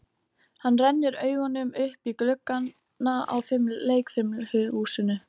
Hann rennir augunum upp í gluggana á leikfimihúsinu.